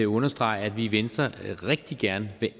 understrege at vi i venstre rigtig gerne vil